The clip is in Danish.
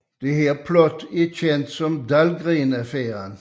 Dette plot er kendt som Dahlgren Affæren